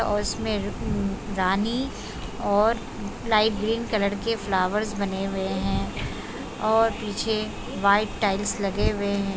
और उसमें रानी और लाइट ग्रीन कलर के फ्लावर्स बने हुए हैं और पीछे व्हाइट टाइल्स लगे हुए हैं।